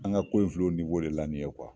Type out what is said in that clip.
An ka ko in filɛ o de la ni ye